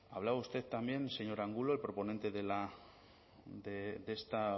hablaba usted también señor angulo el proponente de esta